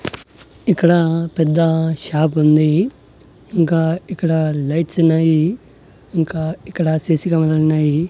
ఇక్కడ పెద్ద షాప్ ఉంది ఇంకా ఇక్కడ లైట్స్ ఉన్నాయి ఇంకా ఇక్కడ సీ_సీ కెమెరా లు ఉన్నాయి.